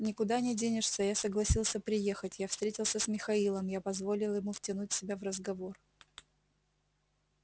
никуда не денешься я согласился приехать я встретился с михаилом я позволил ему втянуть себя в разговор